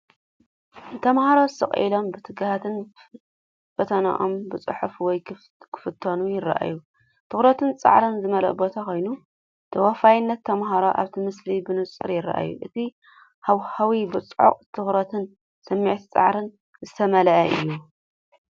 ተምሃሮ ስቕ ኢሎምን ብትግሃትን ፈተናኦም ክጽሕፉ ወይ ክፍተኑ ይረኣዩ። ትኹረትን ጻዕርን ዝመልኦ ቦታ ኮይኑ፡ ተወፋይነት ተማሃሮ ኣብቲ ምስሊ ብንጹር ይርአ። እቲ ሃዋህው ብጽዑቕ ትኹረትን ስምዒት ጻዕርን ዝተመልአ እዩ።